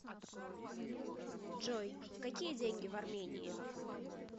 джой какие деньги в армении